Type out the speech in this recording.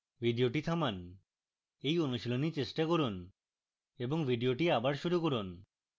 video থামান এই অনুশীলন চেষ্টা করুন এবং video আবার শুরু করুন